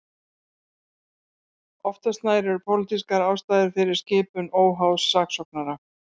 Oftast nær eru pólitískar ástæður fyrir skipun óháðs saksóknara.